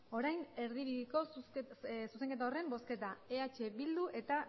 orain erdibideko zuzenketa horren bozketa eh bildu eta